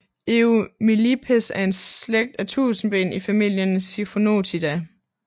Eumillipes er en slægt af tusindben i familien Siphonotidae